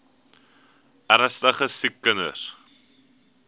ernstige siek kinders